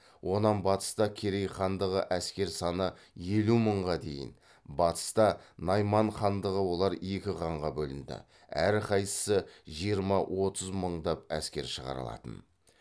онан батыста керей хандығы әскер саны елу мыңға дейін батыста найман хандығы олар екі ханға бөлінді әр қайсысы жиырма отыз мыңдап әскер шығара алатын